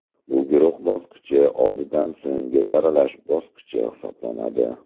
Bu guruh bosqichi oldidan so‘nggi saralash bosqichi hisoblanadi.